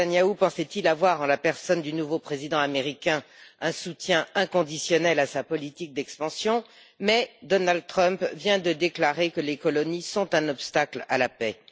Nétanyahou pensait il avoir en la personne du nouveau président américain un soutien inconditionnel à sa politique d'expansion, mais Donald Trump vient de déclarer que les colonies sont un obstacle à la paix.